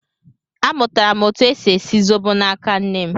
Amụtara m etu e si esi zobo n'aka nne m